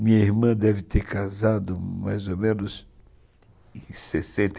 Minha irmã deve ter casado mais ou menos em sessenta